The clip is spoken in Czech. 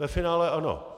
Ve finále ano.